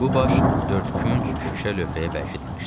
Bu baş dörd künc şüşə lövhəyə bərkidilmişdi.